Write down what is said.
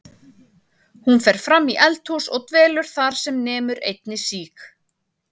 Hún fer fram í eldhús og dvelur þar sem nemur einni síg